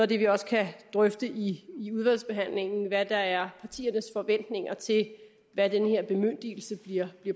det vi også kan drøfte i udvalgsbehandlingen altså hvad der er partiernes forventninger til hvad den her bemyndigelse bliver